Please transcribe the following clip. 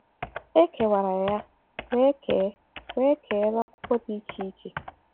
E kewara ya wee kee wee kee n’akwụkwọ dị iche iche.